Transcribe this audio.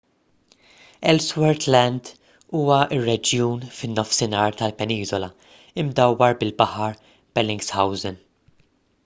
ellsworth land huwa r-reġjun fin-nofsinhar tal-peniżola imdawwar bil-baħar bellingshausen